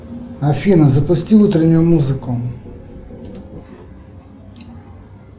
афина запусти утреннюю музыку